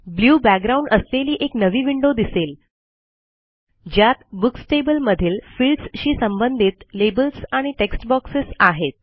blue background असलेली एक नवी विंडो दिसेल ज्यात बुक्स टेबल मधील फील्ड्स शी संबंधित लेबल्स आणि टेक्स्ट बॉक्सेस आहेत